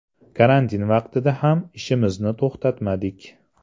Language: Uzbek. Karantin vaqtida ham ishimizni to‘xtatmadik.